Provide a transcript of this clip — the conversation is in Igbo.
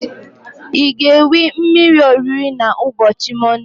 I ga-ewe mmiri orire na ubochi monde?